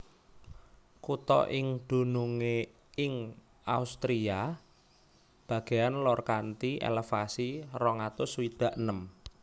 Kutha iki dunungé ing Austria bagéan lor kanthi elevasi rong atus swidak enem